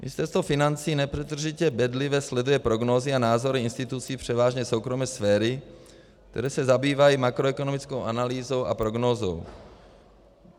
Ministerstvo financí nepřetržitě bedlivě sleduje prognózy a názory institucí převážně soukromé sféry, které se zabývají makroekonomickou analýzou a prognózou.